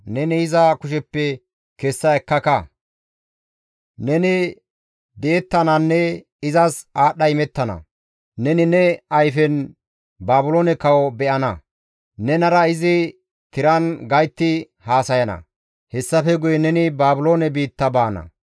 Neni iza kusheppe kessa ekkaka; neni di7ettananne izas aadhdha imettana; neni ne ayfen Baabiloone kawo be7ana; nenara izi tiran gaytti haasayana; hessafe guye neni Baabiloone biitta baana.